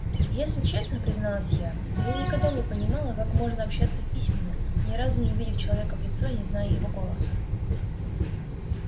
если честно призналась я то я никогда не понимала как можно общаться письменно ни разу не увидев человека в лицо и не зная его голоса